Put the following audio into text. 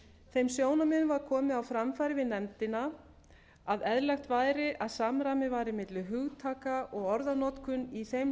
þeim sjónarmiðum var komið á framfæri við nefndina að samræmi væri milli hugtaka og orðanotkun í þeim